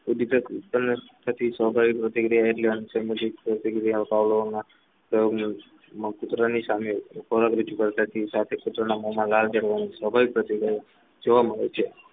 સ્વાભાવિક પ્રતિક્રિયા એટલે અનુસંધાન પ્રતિક્રિયા બાવલોગમાં પ્રતિ કોતરાની સામે ખોરાક રજૂ કરતા સ્વાભાવિક પ્રતિક્રિયા જોવા મળે છે